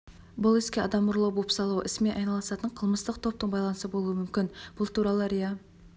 бұл іске адам ұрлау бопсалау ісімен айналысатын қылмыстық топтың байланысы болуы мүмкін бұл туралы риа